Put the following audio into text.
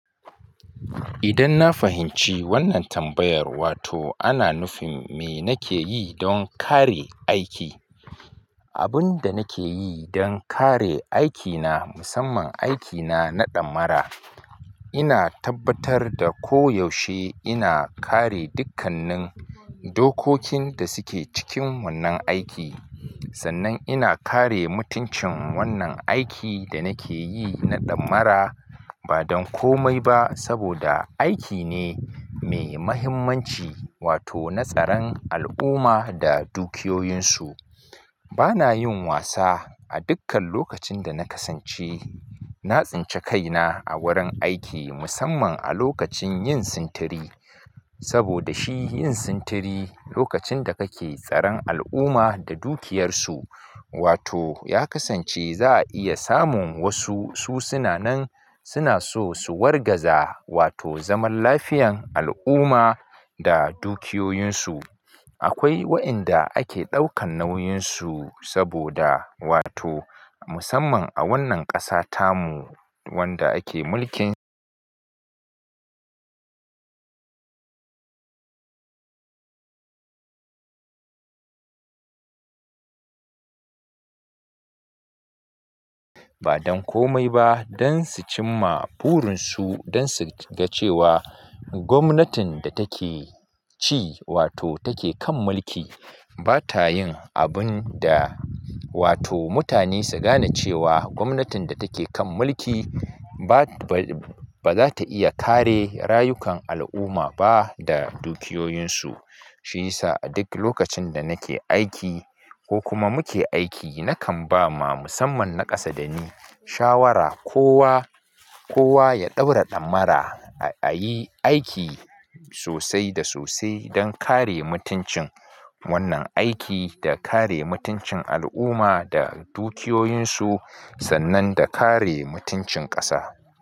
Idan na fahimci wannan tambayar, wato ana nufin me nake yi don kare aiki. Abin da nake yi don kare aikina musamman aikina na ɗamara, ina tabbatar da koyaushe ina kare dukkannin dokokin da suke cikin wannan aiki. Sannan ina kare mutuncin wannan aiki da nake yi na damara ba don komai ba saboda aiki ne mai muhimmanci wato na tsaran al'umma da dukiyoyinsu. Bana yin wasa a dukkan lokacin da na kasance, na tsinci kaina a wurin aiki musamman a lokacin yin sintiri saboda shi yin sintiri lokacin da kake tsaran al'umma da dukiyarsu wato ya kasance za a iya samun wasu su suna nan suna so su wargaza wato zaman lafiyan al'umma da dukiyoyinsu. Akwai waɗanda ake ɗaukan nauyinsu saboda wato musamman a wannan ƙasa tamu wanda ake mulkin wato ya kasance za a iya samun wasu su suna nan suna so su wargaza wato zaman lafiyan al'umma da dukiyoyinsu. Gwamnatin da take ci wato take kan mulki bata yin abin da wato mutane su gane cewa gwamnatin da take kan mulki ba za ta iya kare rayukan al'umma ba da dukiyoyinsu. Shi yasa a duk lokacin da nake aiki ko kuma muke aiki nakan ba ma musamman naƙasa da ni shawara kowa, kowa ya ɗaura ɗamara a yi aiki sosai da sosai don kare mutuncin wannan aiki da kare mutuncin al'umma da dukiyoyinsu sannan da kare mutuncin ƙasa.